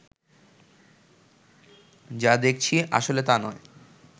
যা দেখছি আসলে তা নয়